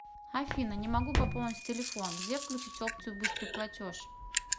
афина не могу пополнить телефон где включить опцию быстрый платеж